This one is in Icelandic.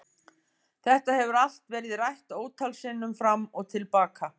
Þetta hefur allt verið rætt ótal sinnum fram og til baka.